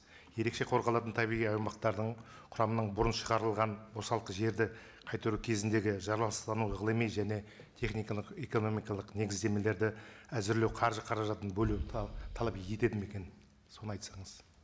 ерекше қорғалатын табиғи аумақтардың құрамының бұрын шығарылған босалқы жерді қайтару кезіндегі жаралыстану ғылыми және техникалық экономикалық негіздемелерді әзірлеу қаржы қаражаттын бөлу талап етеді ме екен соны айтсаңыз